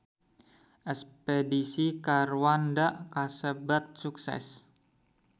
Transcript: Espedisi ka Rwanda kasebat sukses